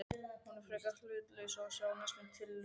Hún er frekar hlutlaus að sjá, næstum litlaus.